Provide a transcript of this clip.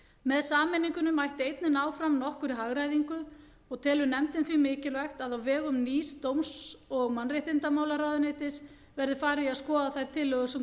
með sameiningunni mætti einnig ná fram nokkurri hagræðingu og telur nefndin því mikilvægt að á vegum nýs dóms og mannréttindamálaráðuneytis verði farið í að skoða þær tillögur sem